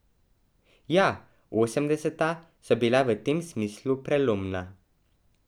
Ja, osemdeseta so bila v tem smislu prelomna.